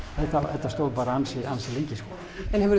þetta stóð ansi ansi lengi sko